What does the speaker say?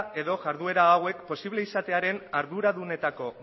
edo jarduera hauek posibleak izatearen arduradunetako